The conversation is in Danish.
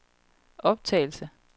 optagelse